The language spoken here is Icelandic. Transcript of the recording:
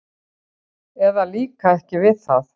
eða líka ekki við það.